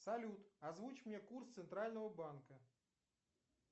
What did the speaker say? салют озвучь мне курс центрального банка